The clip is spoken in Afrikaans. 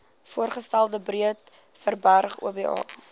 voorgestelde breedeoverberg oba